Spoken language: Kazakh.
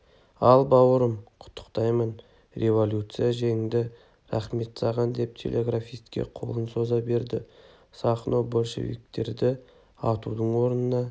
ал бауырым құттықтаймын революция жеңді рақмет саған деп телеграфистке қолын соза берді сахно большевиктерді атудың орнына